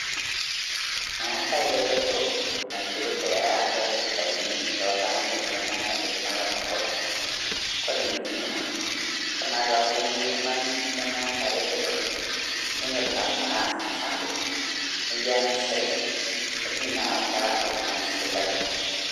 Meetai reteto naipirta elaata esipitalini too ltamoyiak lemeeta enkidimata to nkopang. Kore neikununo kore naa duake pee emoi ltung'ani lemeeta reteto nenyotoo naa ltung'ana aas muchangao neyaa mpisai netumi naa awataa lo ltung'ani sipitali